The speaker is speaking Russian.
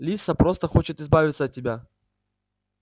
лиса просто хочет избавиться от тебя